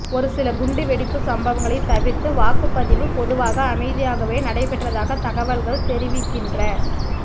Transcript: ஒரு சில குண்டுவெடிப்பு சம்பவங்களை தவிர்த்து வாக்குப்பதிவு பொதுவாக அமைதியாகவே நடைபெற்றதாக தகவல்கள் தெரிவிக்கின்ற